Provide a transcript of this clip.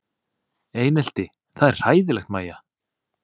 Einelti það er hræðilegt Mæja?